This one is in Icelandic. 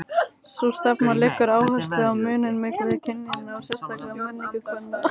Sú stefna leggur áherslu á muninn milli kynjanna og sérstaka menningu kvenna.